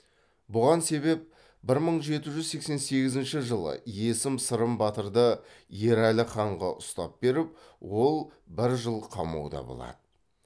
бұған себеп бір мың жеті жүз сексен сегізінші жылы есім сырым батырды ерәлі ханға ұстап беріп ол бір жыл қамауда болады